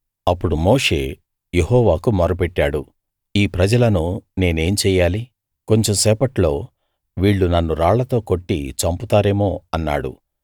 అప్పుడు మోషే యెహోవాకు మొరపెట్టాడు ఈ ప్రజలను నేనేం చెయ్యాలి కొంచెం సేపట్లో వీళ్ళు నన్ను రాళ్లతో కొట్టి చంపుతారేమో అన్నాడు